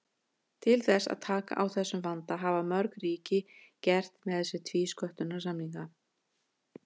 Til þess að taka á þessum vanda hafa mörg ríki gert með sér tvísköttunarsamninga.